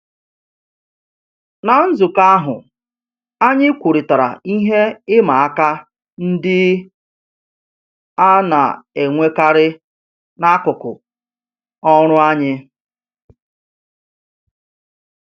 Ná nzukọ ahụ, anyị kwurịtara ihe ịma aka ndị a na-enwekarị n'akụkụ ọrụ anyị